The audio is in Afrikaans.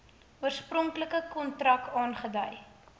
oorspronklike kontrak aangedui